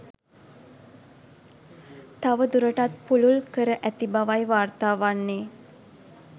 තව දුරටත් පුළුල් කර ඇති බවයි වාර්තා වන්නේ.